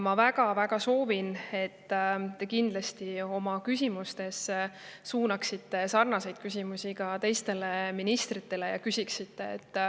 Ma väga-väga soovin, et te suunaksite sarnaseid küsimusi ka teistele ministritele.